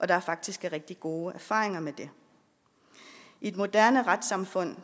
der faktisk er rigtig gode erfaringer med det i et moderne retssamfund